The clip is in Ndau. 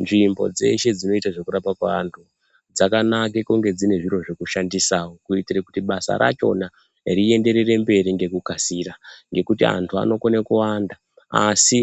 Nzvimbo dzeshe dzinoita zvekurapwa kweantu dzakanake kunge dzine zviro zvekushandisawo kuitire kuti basa rachona rienderere mberi ngekukasira. Ngekuti antu anokone kuwanda asi